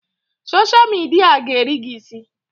Soshal midia a ga-eri gị isi!